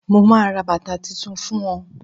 mo ma ra bàtà Titun fún o